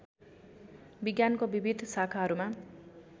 विज्ञानको विविध शाखाहरूमा